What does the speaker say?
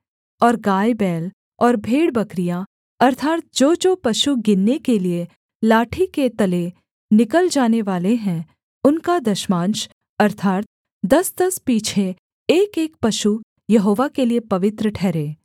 और गायबैल और भेड़बकरियाँ अर्थात् जोजो पशु गिनने के लिये लाठी के तले निकल जानेवाले हैं उनका दशमांश अर्थात् दसदस पीछे एकएक पशु यहोवा के लिये पवित्र ठहरे